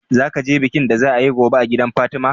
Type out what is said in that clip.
Zaka je bikin da za a yi gobe a gidan fatima?